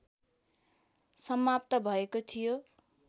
समाप्त भएको थियो